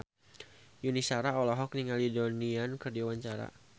Yuni Shara olohok ningali Donnie Yan keur diwawancara